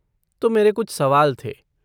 तो मेरे कुछ सवाल थे।